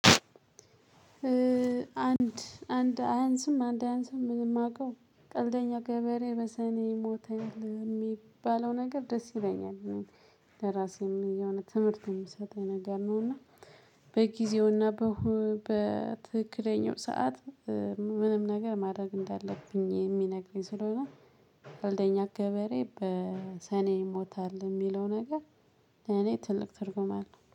አንድ አይንስም አንድ አይንስም የማውቀው ቀልደኛ ገበሬ በሰኔ ይሞታል የሚባለው ነገር ደስ ይለኛል እኔ ለራሴ ምን የሆነ ትምህርት የምሰጠኝ ነገር ነው። እና በጊዜውና በሁ በትክክለኛው ሰዓት። ምንም ነገር ማድረግ እንዳለብኝ የሚነግሪ ስለሆነ። ፈልደኛ ገበሬ በሰኔ ይሞታል የሚለው ነገር እኔ ትልቅ ትርጉም አለው